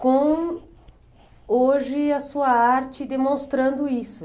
com, hoje, a sua arte demonstrando isso.